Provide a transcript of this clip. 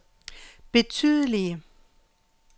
betydelige